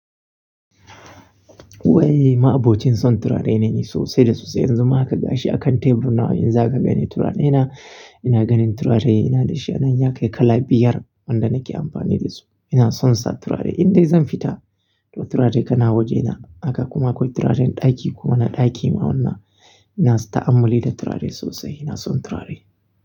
Waini, ma'abocin son turare ne. So sai da sosai. Yanzu ma haka gashi akan tebur na in za ka gani turare na. Ina ganin turare ina di shi. Ya kai kala biyar wanda nake amfani da su. Ina son sa turare. Indai zan fita to turare tana wajena. Haka kuma akwai turaren ɗaki kuma na ɗakin awanna. Ina ta'ammali da turare sosai. Ina son turare.